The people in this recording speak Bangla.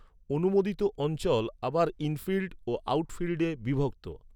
অনুমোদিত অঞ্চল আবার 'ইনফিল্ড' ও 'আউটফিল্ডে' বিভক্ত।